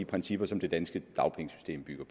principielt